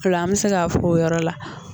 Ola an mi se ka fɔ o yɔrɔ la